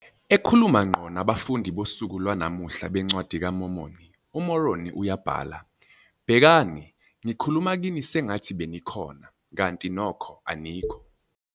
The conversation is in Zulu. Ekhuluma ngqo nabafundi bosuku lwanamuhla beNcwadi kaMormoni, uMoroni uyabhala, "Bhekani, ngikhuluma kini sengathi benikhona, kanti nokho anikho.